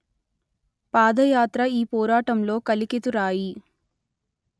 పాదయాత్ర ఈ పోరాటంలో కలికితురాయి